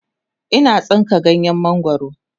Ina tsinka ganyen mangwaro